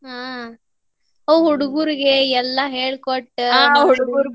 ಹಾ ಅವು ಹುಡುಗುರ್ಗೆ ಎಲ್ಲಾ ಹೇಳಿ ಕೊಟ್ಟ .